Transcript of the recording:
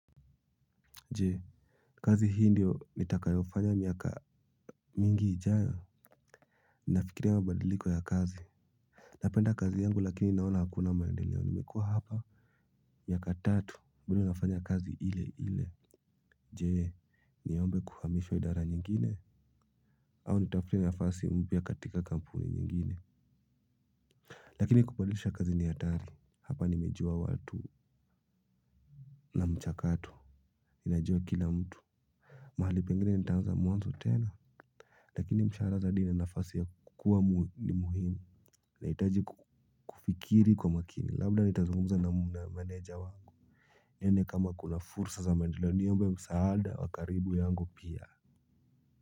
Je kazi hii ndio nitakayofanya miaka mingi ijayo. Ninafikiria mabadiliko ya kazi. Napenda kazi yangu lakini naona hakuna maendeleo nimekua hapa. Miaka tatu bado nafanya kazi ile ile. Jee niombe kuhamishwa idara nyingine. Au nitafute nafasi mpya katika kampuni nyingine. Lakini kubadilisha kazi ni hatari hapa nimejua watu. Na mchakato najua kila mtu. Mahali pengine nitanzaa mwanzo tena. Lakini mshahara zaidi ni nafasi ya kukua ni muhimu ninahitaji kufikiri kwa makini labda nitazunguza na meneja wangu. Nione kama kuna fursa za maendeleo niombe msaada wa karibu yangu pia.